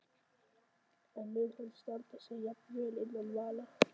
En mun hann standa sig jafn vel innan vallar?